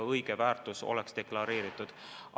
Õige väärtus peab olema deklareeritud.